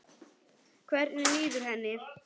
Hvernig líður henni?